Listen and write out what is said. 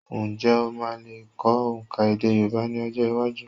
Ǹjẹ́ o lmáa lè kọ́ òǹkà èdè Yorùbá ní ọjọ́-iwájú?